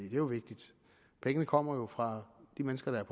jo vigtigt pengene kommer jo fra de mennesker der